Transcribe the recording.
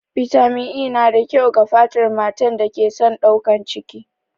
Bitamin E na da kyau ga fatar matan da ke son ɗaukan ciki.